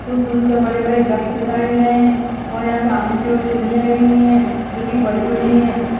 कुछ दूरी पर बड़े-बड़े वृक्ष दिखाई दे रहे हैं और यहाँ सामने की ओर सीढ़ियां गई हुई हैं जो की बड़ी-बड़ी हैं।